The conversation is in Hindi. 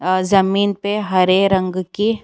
आ जमीन पे हरे रंग की --